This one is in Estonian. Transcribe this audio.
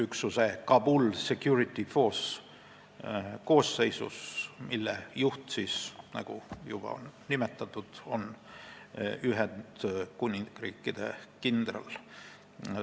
Selle üksuse juht on, nagu juba nimetatud, Ühendkuningriigi kindral.